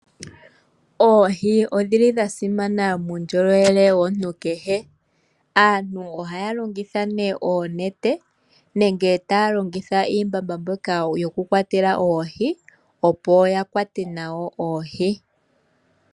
Oohi odhili dha simana muundjolowele womuntu kehe. Aantu ohaya longitha nee oonete nenge taya longitha iimbamba mbyoka yokukwatela oohi, opo ya kwate nayo oohi.